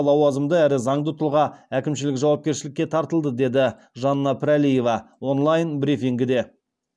лауазымды әрі заңды тұлға әкімшілік жауапкершілікке тартылды деді жанна пірәлиева онлайн брифингіде